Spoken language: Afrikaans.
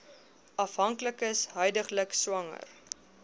afhanklikes huidiglik swanger